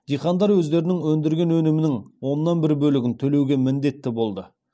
диқандар өздерінің өндірген өнімінің оннан бір бөлігін төлеуге міндетті болды